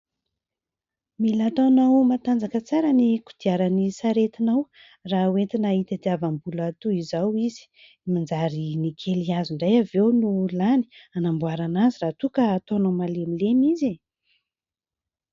Mila ataonao matanjaka tsara ny kodiaran'ny saretinao raha hoentina hitadiavam-bola toy izao izy. Manjary ny kely azo indray avy eo no lany hanamboarana azy raha toa ka ataonao malemilemy izy.